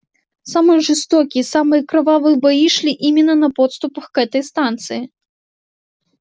самые жестокие самые кровавые бои шли именно на подступах к этой станции